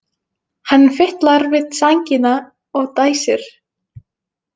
Hann fitlar við sængina og dæsir.